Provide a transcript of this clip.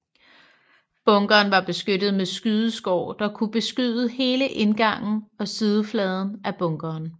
Bunkeren var beskyttet med skydeskår der kunne beskyde hele indgangen og sidefladen af bunkeren